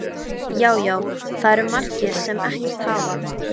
Já, já, það eru margir sem ekkert hafa.